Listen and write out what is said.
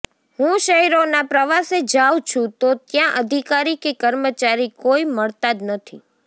હું શહેરોના પ્રવાસે જાઉં છું તો ત્યાં અધિકારી કે કર્મચારી કોઇ મળતા જ નથી